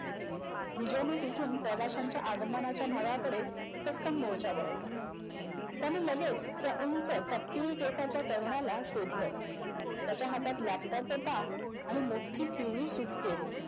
विजयनी तिथून प्रवाशांच्या आगमनाच्या भागाकडे तत्सम मोर्चा वळवला. त्याने लगेच त्या उंच तपकिरी केसाच्या तरुणाला शोधल. त्याच्या हातात मोठी पिवळी suitcase.